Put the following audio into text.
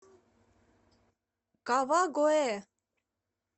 кавагоэ